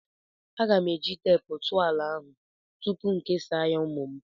Aga m eji teepu tụọ ala ahụ tupu m kesaa ya ụmụ m.